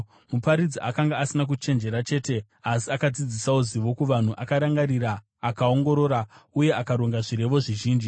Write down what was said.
Muparidzi akanga asina kuchenjera chete asi akadzidzisawo zivo kuvanhu. Akarangarira akaongorora uye akaronga zvirevo zvizhinji.